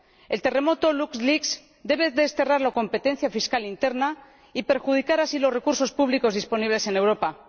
El terremoto LuxLeaks debe desterrar la competencia fiscal interna, que perjudica los recursos públicos disponibles en Europa.